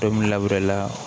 la